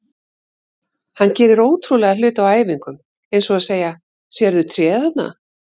Hann gerir ótrúlega hluti á æfingum eins og að segja: Sérðu tréð þarna?